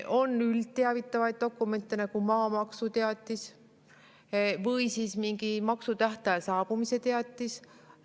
On üldteavitavaid dokumente, nagu maamaksuteatis või mingi maksutähtaja saabumise teatis.